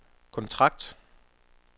kontrakt